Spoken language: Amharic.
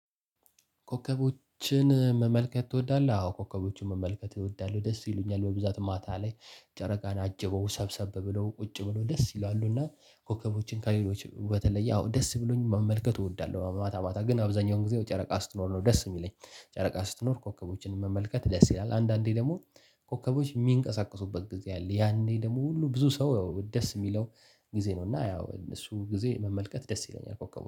ኮከቦችን መመልከት ትወዳለህ? አዎ ኮከቦችን መመልከት እወዳለው። ደስ ይሉኛል በብዛት ማታ ላይ ጨረቃን አጅበው ሰብሰብ ብለው ቁጭ ብለው ደስ ይላሉ እና ኮከቦችን ከሌላው በተለየ ደስብሎኝ መመልከት እወዳለሁ። ማታ ማታ ግን አብዛኛውን ጊዜ ጨረቃ ስትኖር ነው ደስ እሚለኝ ጨረቃ ስትኖር ኮኮቦችን መመልከት ደስ ይላል። ኮከቦች እሚንቀሳቀሱበት ጊዜ አለ ያኔ ደግሞ ሁሉ ብዙ ሰው ያው ደስ እሚለው ጊዜ ነው። እና ያው እሱ ጊዜ መመልከት ደስ ይለኛል። ኮከቡ